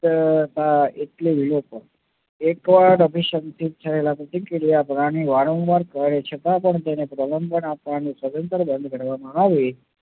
અર અર એટલે વિલોચન. એકવાર અભીસંધિત થયેલા પ્રક્રિયાને વારંવાર છતાં પણ તેને આપવાનું સદંતર બંધ કરવામાં આવે